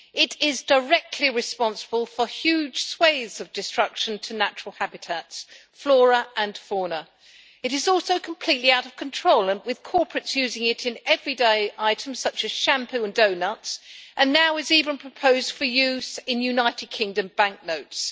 It is directly responsible for huge swathes of destruction to natural habitats, flora and fauna. It is also completely out of control, with corporates using it in everyday items such as shampoo and doughnuts, and it is now even being proposed for use in United Kingdom banknotes.